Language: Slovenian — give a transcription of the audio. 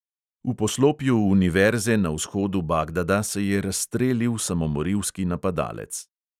V poslopju univerze na vzhodu bagdada se je razstrelil samomorilski napadalec.